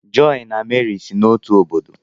joy na Meri si n'otu obodo